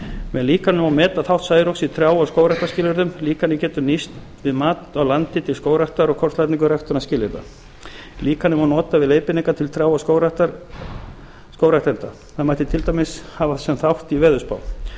með líkaninu má meta þátt særoks í trjá og skógræktarskilyrðum líkanið getur nýst við mat á landi til skógræktar og kortlagningu ræktunarskilyrða líkanið má nota við leiðbeiningar til trjá og skógræktenda það mætti til dæmis hafa sem þátt í veðurspám